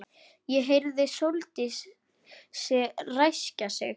Ég heyrði Sóldísi ræskja sig.